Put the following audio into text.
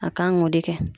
A kan k'o de kɛ